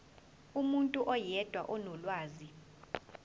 umuntu oyedwa onolwazi